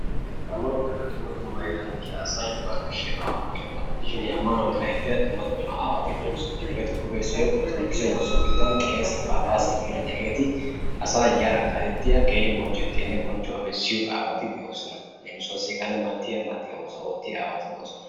Ammano giyooge dumma dumma heeran de'iyaa asay bana ashshiyaaba ammaniyooba gidishin. he ammanuwa kaalietiyaa aawati de'oosona. hegetuppe issoy orttodokisse woossiyo keettan qeessiya phaphassiya malatiyaa asa yara kaaletiyaa keehin bonchchiyo bonchchetiyaa bessiyo aawati de'oosona. leemissuwa heganne hegaa malatiyaa aawati de'oosona.